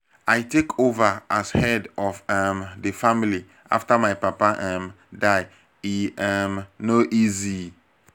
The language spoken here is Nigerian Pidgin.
i take over as head of um di family after my papa um die e um no easy.